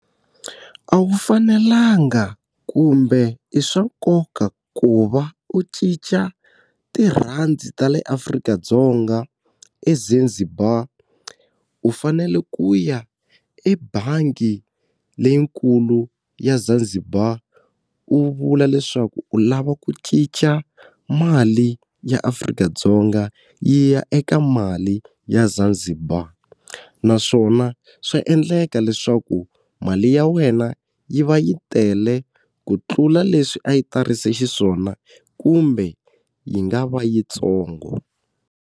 A wu fanelanga kumbe i swa nkoka ku va u cinca tirhandi ta le Afrika-Dzonga eZanzibar, u fanele ku ya ebangi leyikulu ya Zanzibar u vula leswaku u lava ku cinca mali ya Afrika-Dzonga yi ya eka mali ya Zanzibar. Naswona swa endleka leswaku mali ya wena yi va yi tele ku tlula leswi a yi tarise xiswona kumbe yi nga va yitsongo.